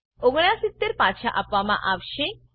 ૬૯ પાછા આપવામાં આવશે